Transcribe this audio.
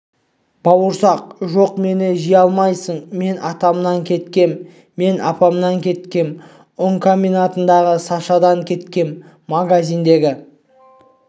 бауырсақ жоқ мені жей алмайсың мен атамнан кеткем мен апамнан кеткем ұн комбинатындағы сашадан кеткем магазиндегі